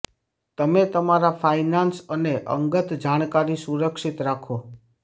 તમે તમારા ફાઇનાન્સ અને અંગત જાણકારી સુરક્ષિત રાખો